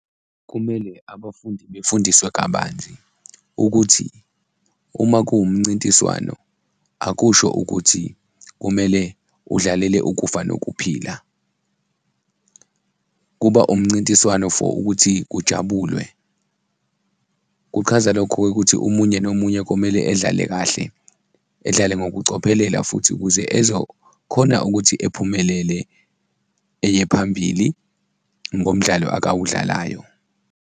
Kumele abafundi befundiswe kabanzi ukuthi uma kuwumncintiswano, akusho ukuthi kumele udlalele ukufa nokuphila, kuba umncintiswano for ukuthi kujabulwe. Kuchaza lokho-ke ukuthi omunye nomunye kumele edlale kahle, edlale ngokucophelela futhi ukuze ezokhona ukuthi ephumelele eye phambili ngomdlalo akawudlalayo.